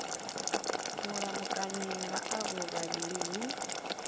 mulamukanyi nga avho vhavhili hu